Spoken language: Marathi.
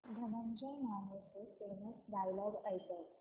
धनंजय मानेचे फेमस डायलॉग ऐकव